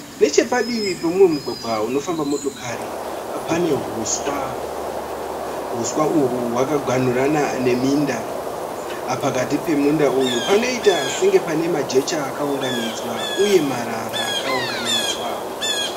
Nechepadivi peumwe mugwagwa unofamba motokari pane huswa, huswa uyu wakaghanurana neminda, pakati pemunda panoita senge panemajecha akaunganidzwa uye marara akaunganidzwa.